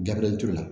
Gabiriyɛri ture la